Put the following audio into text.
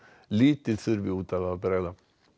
lítið þurfi út af að bregða